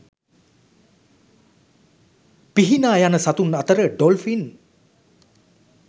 පිහිනා යන සතුන් අතර ඩොල්ෆින්